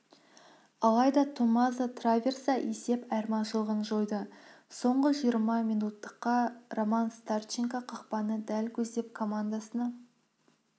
алайда томмазо траверса есеп айырмашылығын жойды соңғы жиырма минуттықта роман старченко қақпаны дәл көздеп командасына